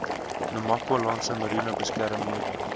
namakwalandse mariene beskermde